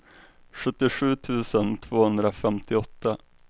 sjuttiosju tusen tvåhundrafemtioåtta